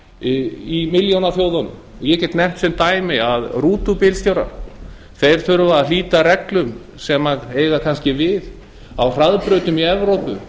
í milljónaþjóðunum ég get nefnt sem dæmi að rútubílstjórar hér þurfa að hlíta reglum sem eiga kannski við á hraðbrautum í evrópu